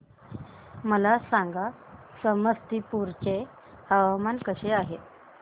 मला सांगा समस्तीपुर चे हवामान कसे आहे